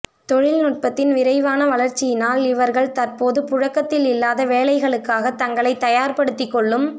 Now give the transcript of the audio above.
தொழில்நுட்பத்தின் விரைவான வளர்ச்சியினால் இவர்கள் தற்போது புழக்கத்தில் இல்லாத வேலைகளுக்காக தங்களைத் தயார்படுத்திக்கொள்ளும்